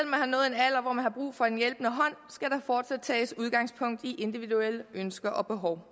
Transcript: om har brug for en hjælpende hånd skal der fortsat tages udgangspunkt i individuelle ønsker og behov